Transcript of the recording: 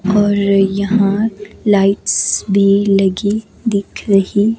और यहां लाइट्स भी लगी दिख रही--